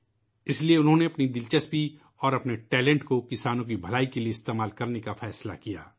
لہٰذا انہوں نے اپنی دلچسپی اور اپنی صلاحیتوں کو کسانوں کی بہتری کے لئے استعمال کرنے کا فیصلہ کیا